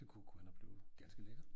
Det kunne kunne gå hen og blive ganske lækkert